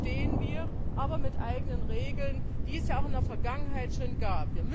Dazu stehen wir, aber mit eigenen Regeln, die es ja auch in der Vergangenheit schon gab.